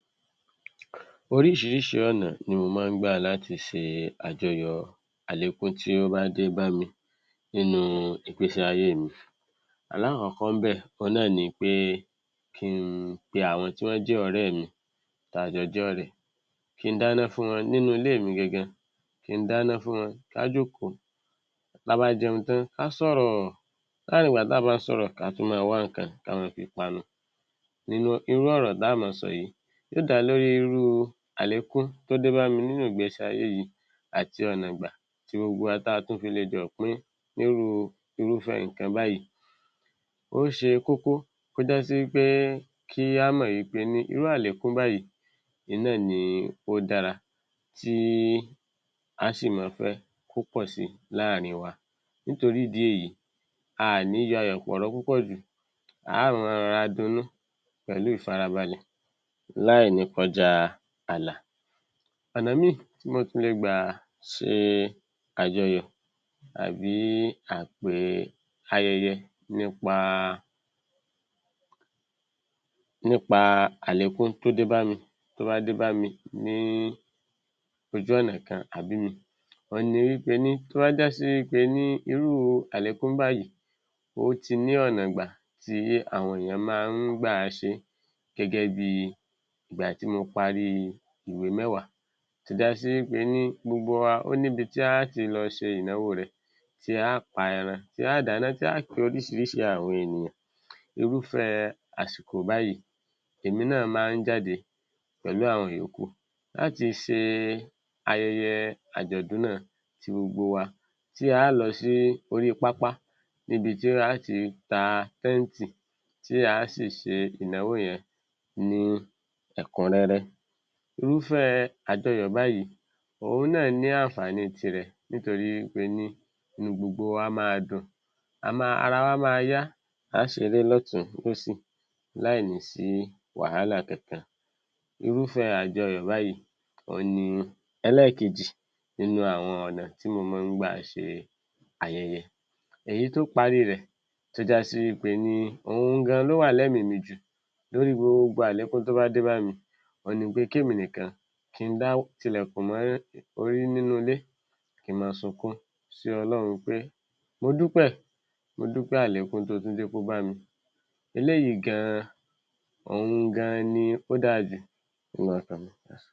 Oriṣìíríṣìí ọ̀nà ni mo máa ń gbà láti ṣe àjọyọ̀ àlékún tí ó bá dé bámi nínúu ìgbésí-ayé mi. Alákọ̀ọ́kọ́ ńbẹ̀ òhun náà ni pé kí n pe àwọn tí wọ́n jẹ́ ọ̀rẹ́ mi, táa jọ jọ́rẹ̀ẹ́. Kí dáná fún wọn nínú ilé mi gangan, kí n dáná fún wọn, ká jókòó. Táa bá jẹun tán, ká sọ̀rọ̀, láàárín ìgbà táa bá ń sọ̀rọ̀, ká tún mọ́n ọn wá nǹkan ká mọ́n ọn fi panu. Nínú, irú ọ̀rọ̀ táá mọ́n ọn sọ yìí, yó dá lórí irúu àlékú tó débámi nínú ìgbésí-ayé yìí àti ọ̀nà ìgbà tí gbogbo wa, táa tún fi lè jọ pín ní irúu irúfẹ́ẹ nǹkan báyìí. Ó ṣe kókó kó jásí wí pé kí á mọ̀ wí pení irú àlékún báyìí ìn náà ni ó dára, tí aá sì mọ́n ọn fẹ́ kó pọ̀ síi láàrin wa. Nítorí ìdí èyí, aà ní yayọ̀-pọ̀rọ́ púpọ̀ jù, aá mọ́n ọn rọra dunní pẹ̀lú ìfarabalẹ̀ láì ní kọjáa ààlà. Ọ̀nà míì tí mo tún le gbà ṣe àjọyọ̀ àbí àpè ayẹyẹ nípa, nípa àlékún tó dé bámi, tó bá dé bámi ní ojú ọ̀nà kan tàbí ìmíì òhun ni wí pení tó bá já sí wí pení irú àlékún báyìí ó ti ní ọ̀nà ìgbà tí àwọn èèyàn máa ń gbà á ṣe é gẹ́gẹ́ bíi ìgbà tí o paríi ìwé mẹ́wàá, tó jásí wí pení gbogbo wà, ó níbi tí aá ti lọ ṣe ìnáwó rẹ̀, tí a á pa ẹran, tí a á dáná, tí a á pe oríṣiríṣi àwọn ènìyàn. Irúfẹ́ẹ àsìkò báyìí, èmi náà máa ń jáde pẹ̀lú àwọn ìyókù láti ṣe ayẹyẹ àjọ̀dún náà, tí gbogbo wa, tí a á lọ sí orí pápá níbi tí a á ti ta tẹ́ǹtì, tí a á sì ṣe ìnáwó yẹn ní ẹ̀kúnrẹ́rẹ́. Irúfẹ́ àjọyọ̀ báyìí, òhun náà ní ànfààní tirẹ̀ nítorí wí pení inú gbogbo wa máa dùn, ara wa máa yá, a á ṣeré lọ́tùn ún, lósì láì ní sí wàhálà kankan. Irúfẹ́ẹ àjọyọ̀ báyìí òhun ni ẹlẹ́ẹ̀kejì nínú àwọn ọ̀nà tí mòó ń mọ́n ọn gbà ṣe ayẹyẹ. Èyí tó parí rẹ̀ tó jásí wí pení òhun gan-an ló wà lẹ́mìí mi jù lórí gbogbo àlékún tó bá dé bámi òhun ni pé kémi nìkan, ki n dá tilẹ̀kùn mọ́ orí nínú ilé, kí n mọ́n ọn sunkún sí Ọlọ́run pé mo dúpẹ́ẹ̀, mo dúpẹ́ àlékún tó o tún jẹ́ kó bámi. Eléyìí gan-an, òhun gan-an ni ó dáa jù.